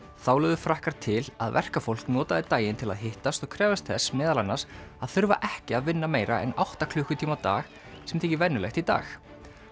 þá lögðu Frakkar til að verkafólk notaði daginn til að hittast og krefjast þess meðal annars að þurfa ekki að vinna meira en átta klukkutíma á dag sem þykir venjulegt í dag